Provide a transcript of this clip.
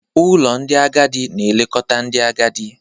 Ụlọ ndị agadi na-elekọta ndị agadi.